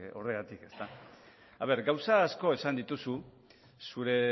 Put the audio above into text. horregatik gauza asko esan dituzu zure